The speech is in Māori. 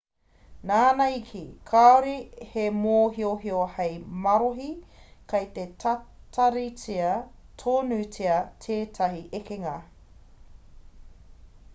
nāna i kī kāore he mōhiohio hei marohi kei te tataritia tonutia tētahi ekenga